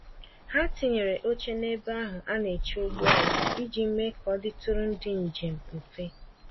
Ha tinyere óche n'ebe ahụ ana eche ụgbọala iji mee k'ọditụrụ ndị njem mfe